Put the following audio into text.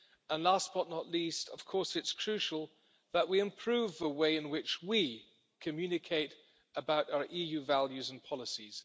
And last, but not least, of course it is crucial that we improve the way in which we communicate about our EU values and policies.